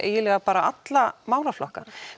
alla málaflokka